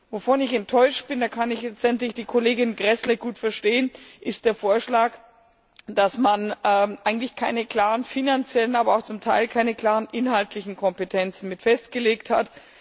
Worüber ich enttäuscht bin da kann ich die Kollegin Gräßle gut verstehen ist der Vorschlag, dass man eigentlich keine klaren finanziellen, aber auch zum Teil keine klaren inhaltlichen Kompetenzen festgelegt hat.